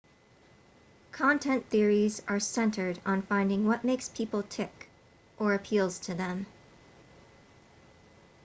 content theories are centered on finding what makes people tick or appeals to them